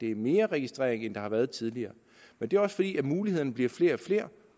er mere registrering end der har været tidligere det er også fordi mulighederne bliver flere og flere